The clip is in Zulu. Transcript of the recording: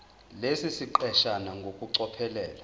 lesi siqeshana ngokucophelela